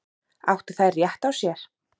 Áttu þær rétt á sér?